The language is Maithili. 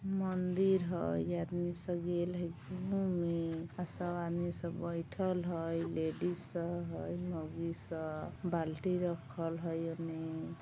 मंदिर हेय ई आदमी सब हेय घूमे सब आदमी सब बैठल हेय लेडीज सब हेय मोगी सब बाल्टी राखल हेय औने।